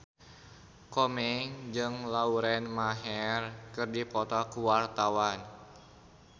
Komeng jeung Lauren Maher keur dipoto ku wartawan